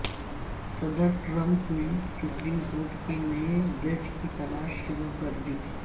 صدر ٹرمپ نے supreme court کے نئے جج کی تلاش شروع کر دی